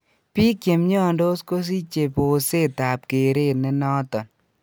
Biik chemiondos kosichee boseet ab kereet nenoton